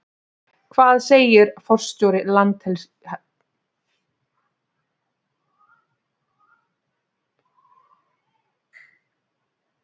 Hvað segir forstjóri Landhelgisgæslunnar?